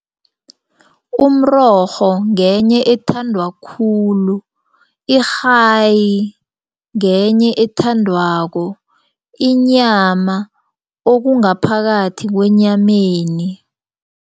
Umrorho ngenye ethandwa khulu, irhayi ngenye ethandwako, inyama okungaphakathi kwenyameni.